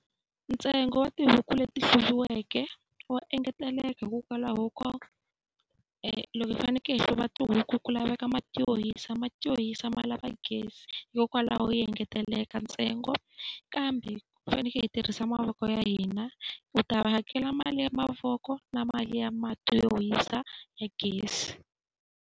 Ntsengo wa tihuku leti hluviweke wa engeteleka hikokwalaho ko loko yi fanekele yi hluva tihuku ku laveka mati yo hisa, mati yo hisa ma lava gezi hikokwalaho hi engetelela ntsengo. Kambe u fanekele u tirhisa mavoko ya hina, u ta hakela mali ya mavoko na mali ya mati yo hisa ya gezi.